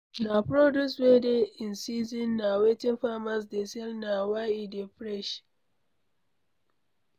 Na produce wey dey in season na wetin farmers dey sell na why e dey fresh